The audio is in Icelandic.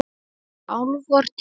Eru álfar til?